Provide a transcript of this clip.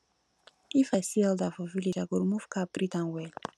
if i see elder for village i go remove cap greet am well